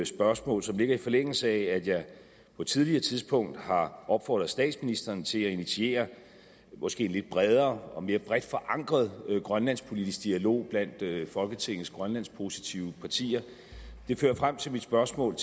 spørgsmål som ligger i forlængelse af at jeg på et tidligere tidspunkt har opfordret statsministeren til at initiere en måske lidt bredere og mere bredt forankret grønlandspolitisk dialog blandt folketingets grønlandspositive partier det fører frem til mit spørgsmål